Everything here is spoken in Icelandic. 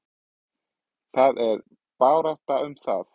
Það er barátta um það.